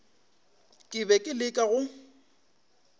ke be ke leka go